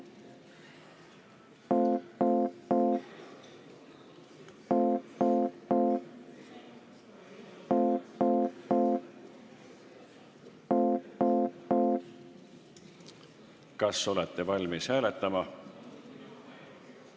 Kas olete valmis hääletama?